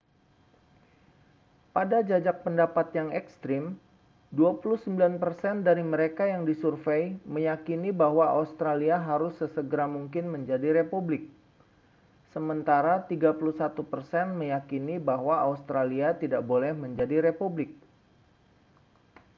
pada jajak pendapat yang ekstrem 29 persen dari mereka yang disurvei meyakini bahwa australia harus sesegera mungkin menjadi republik sementara 31 persen meyakini bahwa australia tidak boleh menjadi republik